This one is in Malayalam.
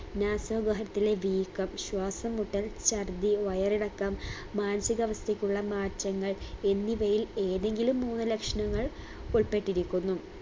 നാസാവഹത്തിലെ വീക്കം ശ്വാസംമുട്ടൽ ഛർദ്ദി വയറിളക്കം മാനസികവസ്ഥയ്ക്കുള്ള മാറ്റങ്ങൾ എന്നിവയിൽ ഏതെങ്കിലും മൂന്ന് ലക്ഷണങ്ങൾ ഉൾപ്പെട്ടിരിക്കുന്നു